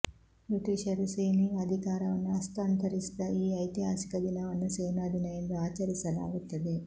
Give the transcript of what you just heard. ಬ್ರಿಟಿಷರು ಸೇನೆಯ ಅಧಿಕಾರವನ್ನು ಹಸ್ತಾಂತರಿಸಿದ ಈ ಐತಿಹಾಸಿಕ ದಿನವನ್ನು ಸೇನಾ ದಿನ ಎಂದು ಆಚರಿಸಲಾಗುತ್ತದೆ